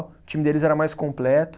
O time deles era mais completo.